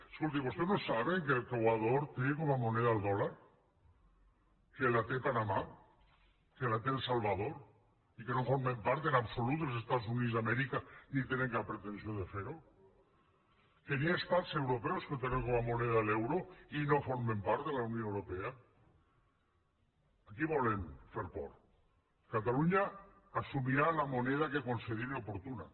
escoltin vostès no saben que l’equador té com a moneda el dòlar que la té panamà que la té el salvador i que no formen part en absolut dels estats units d’amèrica ni tenen cap pretensió de fer ho que hi ha estats europeus que tenen com a moneda l’euro i no formen part de la unió europea a qui volen fer por catalunya assumirà la moneda que consideri oportuna